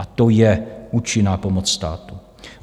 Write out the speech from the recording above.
A to je účinná pomoc státu.